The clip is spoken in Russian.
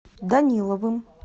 даниловым